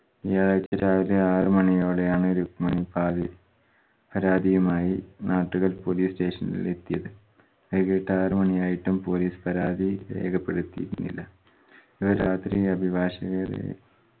വ്യാഴാഴ്ച രാവിലെ ആറു മണിയോടെയാണ് രുക്മിണി പാതി പരാതിയുമായി നാട്ടിലെ police station ഇൽ എത്തിയത്. വൈകിട്ട് ആറ് മണി ആയിട്ടും police പരാതി രേഖപ്പെടുത്തിയിരുന്നില്ല. ഇവർ രാത്രി അഭിഭാഷകരെ